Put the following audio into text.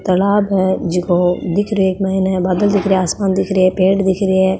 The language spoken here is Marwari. तालाब है जिको दिख रियो है इक माइन बादल दिख रहा है आसमान दिख रहा है पेड़ दिख रिया है।